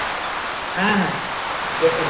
হ্যাঁ হ্যাঁ গেছিলো